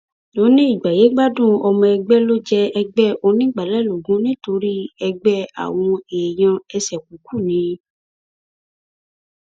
ó ní ìgbáyégbádùn ọmọ ẹgbẹ ló jẹ ẹgbẹ onígbàálẹ lógún nítorí ẹgbẹ àwọn èèyàn ẹsẹkúùkù ni